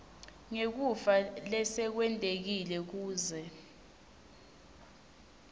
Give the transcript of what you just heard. ngekufa lesekwentekile kuze